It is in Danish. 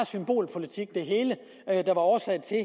symbolpolitik der var årsag til